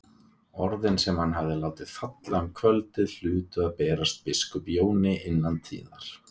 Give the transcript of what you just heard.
Orðin sem hann hafði látið falla um kvöldið hlutu að berast biskup Jóni innan tíðar.